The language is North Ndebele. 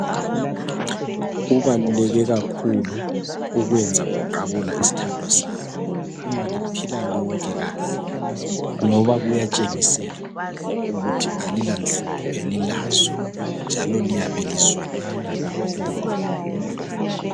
Kubaluleke kakhulu ukwenza uqabula isthandwa sakho uma liphila lonke kahle ngoba kuyatshengisela ukuthi alilanhlupho elilazo njalo liyabe lizwanana kakhulu.